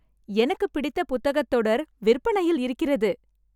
எனக்குப் பிடித்த புத்தகத் தொடர் விற்பனையில் இருக்கிறது